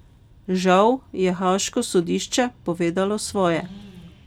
Žal je haaško sodišče povedalo svoje.